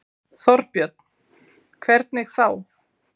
Þorbjörn: Hvernig þá?